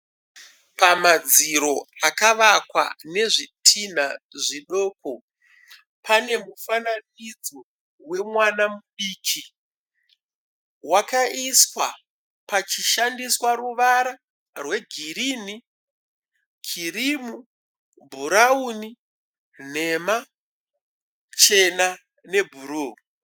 Pamadziro akavakwa nezvitinha zvidoko. Pane mufananidzo wemwana mudiki. Wakaiswa pachishandiswa ruwara rwe girini, kirimu, bhurauni, nhema, chena ne bhuruu.